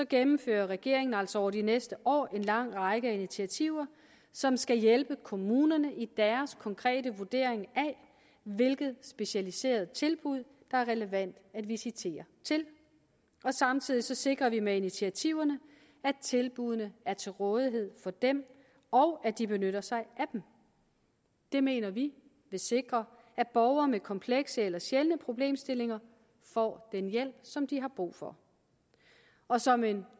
gennemfører regeringen altså over de næste år en lang række initiativer som skal hjælpe kommunerne i deres konkrete vurdering af hvilket specialiseret tilbud der er relevant at visitere til og samtidig sikrer vi med initiativerne at tilbuddene er til rådighed for dem og at de benytter sig af dem det mener vi vil sikre at borgere med komplekse eller sjældne problemstillinger får den hjælp som de har brug for og som en